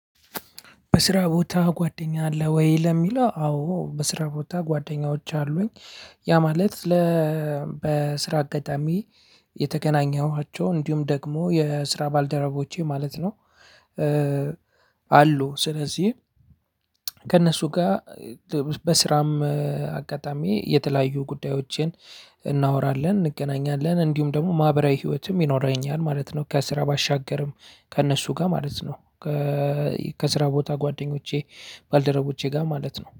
በስራ ቦታ ጓደኛ አለህ ወይ? ለሚለው አዎ በስራ ቦታ ጓደኛዎች አሉኝ። ያ ማለት ለ- በስራ አጋጣሚ የተገናኘኋቸው እንዲሁም ደግሞ የስራ ባልደረቦቼ ማለት ነው። አሉ። ስለዚህ ከእነሱ ጋር በስራም አጋጣሚ የተለያዩ ጉዳዮችን እናወራለን። እንገናኛለን። እንዲሁም ደግሞ ማህበራዊ ህይወትም ይኖረኛል ማለት ነው ከስራ ባሻገርም ከእነሱ ጋር ማለት ነው። ከስራ ቦታ ጓደኞቼ ባልደረቦቼ ጋር ማለት ነው።